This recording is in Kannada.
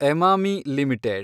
ಎಮಾಮಿ ಲಿಮಿಟೆಡ್